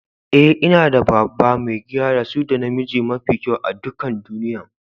Eh, n'na da baba, maigida da su da na miji mafi kyau a'dukan duniyyan.